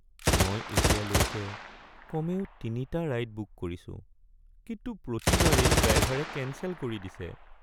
মই এতিয়ালৈকে কমেও ৩টা ৰাইড বুক কৰিছো, কিন্তু প্ৰতিবাৰেই ড্ৰাইভাৰে কেঞ্চেল কৰি দিছে।